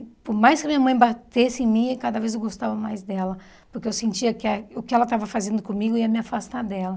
Por mais que minha mãe batesse em mim, cada vez eu gostava mais dela, porque eu sentia que ah o que ela estava fazendo comigo ia me afastar dela.